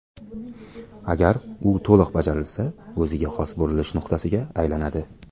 Agar u to‘liq bajarilsa, o‘ziga xos burilish nuqtasiga aylanadi.